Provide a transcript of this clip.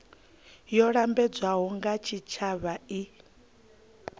yo lambedzwaho nga tshitshavha i